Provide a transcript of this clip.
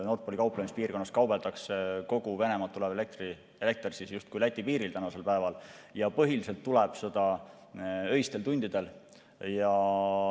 Nord Pooli kauplemispiirkonnas kaubeldakse kogu Venemaalt tulev elekter justkui Läti piiril ja põhiliselt tuleb seda öistel tundidel.